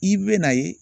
I bɛ na ye